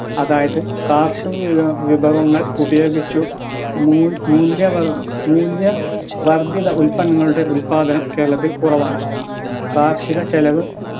അതായത് കാർഷിക വിഭവങ്ങൾ ഉപയോഗിച്ചു മൂല്യ മൂല്യവർദ്ധിത ഉൽപ്പന്നങ്ങളുടെ ഉല്പാദനം കേരളത്തിൽ കുറവാണ് കാർഷിക ചെലവ്